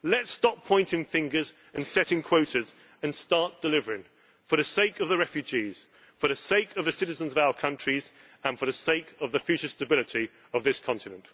Let us stop pointing fingers and setting quotas and start delivering, for the sake of the refugees, for the sake of the citizens of our countries and for the sake of the future stability of this continent.